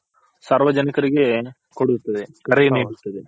ಸಾರ್ವಜನಿಕರಿಗೆ ಕೊಡುತ್ತವೆ ಕರೆ ನೀಡುತ್ತದೆ.